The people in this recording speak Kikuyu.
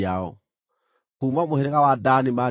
Kuuma mũhĩrĩga wa Dani maarĩ andũ 62,700.